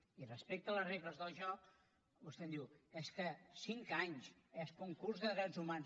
i respecte a les regles del joc vostè em diu és que cinc anys és que un curs de drets humans